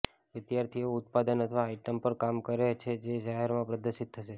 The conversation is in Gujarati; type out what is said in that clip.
વિદ્યાર્થીઓ ઉત્પાદન અથવા આઇટમ પર કામ કરે છે જે જાહેરમાં પ્રદર્શિત થશે